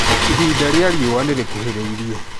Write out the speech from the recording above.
Ihinda rĩa riũa nĩ rĩkuhĩrĩirie.